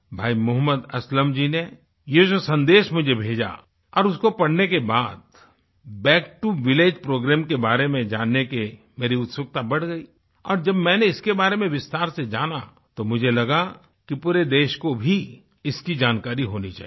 भाई मुहम्मद असलम जी ने ये जो सन्देश मुझे भेजा और उसको पढ़ने के बाद बैक टो विलेज प्रोग्राम के बारे में जानने की मेरी उत्सुकता बढ़ गई और जब मैंने इसके बारे में विस्तार से जाना तो मुझे लगा कि पूरे देश को भी इसकी जानकारी होनी चाहिए